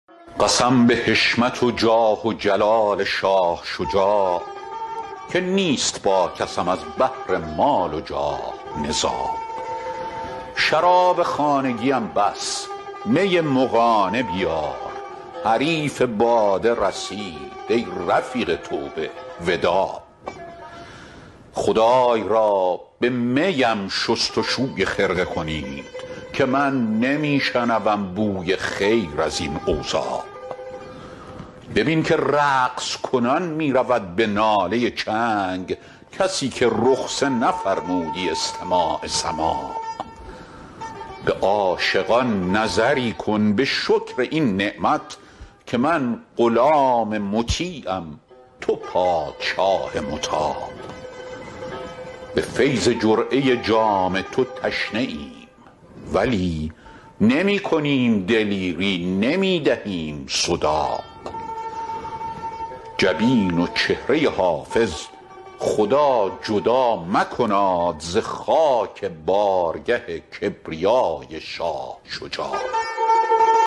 قسم به حشمت و جاه و جلال شاه شجاع که نیست با کسم از بهر مال و جاه نزاع شراب خانگیم بس می مغانه بیار حریف باده رسید ای رفیق توبه وداع خدای را به می ام شست و شوی خرقه کنید که من نمی شنوم بوی خیر از این اوضاع ببین که رقص کنان می رود به ناله چنگ کسی که رخصه نفرمودی استماع سماع به عاشقان نظری کن به شکر این نعمت که من غلام مطیعم تو پادشاه مطاع به فیض جرعه جام تو تشنه ایم ولی نمی کنیم دلیری نمی دهیم صداع جبین و چهره حافظ خدا جدا مکناد ز خاک بارگه کبریای شاه شجاع